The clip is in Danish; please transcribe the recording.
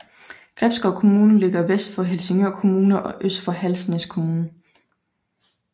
Gribskov kommune ligger vest for Helsingør Kommune og øst for Halsnæs Kommune